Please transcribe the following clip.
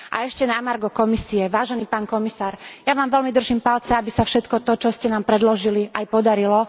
A ešte na margo Komisie vážený pán komisár, ja vám veľmi držím palce, aby sa všetko to, čo ste nám predložili, aj podarilo.